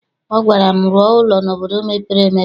Ọ gwara m, rụọ ụlọ n'obodo mepere emepe!